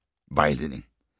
Vejledning: